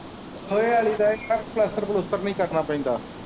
ਲੋਹੇ ਆਲ਼ੀ ਦਾ ਇਹ ਆ ਕੀ ਪਲੱਸਤਰ-ਪਲੂਸਤਰ ਨੀ ਕਰਨਾ ਪੈਂਦਾ।